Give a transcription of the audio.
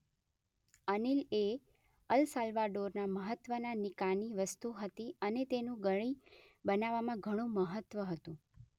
અનીલ એ અલ સાલ્વાડોરના મહત્વનાં નિકાની વસ્તુ હતી અને તેનું ગળી બનાવવામાં ઘણું મહત્વ હતું.